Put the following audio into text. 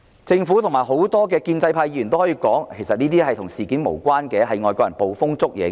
政府和眾多建制派議員可能聲稱，其實這件事件與"一國兩制"無關，只是外國人捕風捉影。